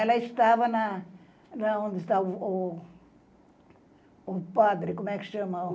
Ela estava na... na Onde estava o... O padre, como é que chama?